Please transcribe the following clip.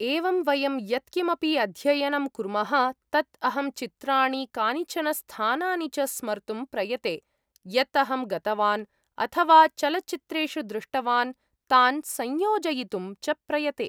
एवं वयं यत् किमपि अध्ययनं कुर्मः तत् अहं चित्राणि, कानिचन स्थानानि च स्मर्तुं प्रयते यत् अहं गतवान्, अथ वा चलचित्रेषु दृष्टवान्, तान् संयोजयितुं च प्रयते।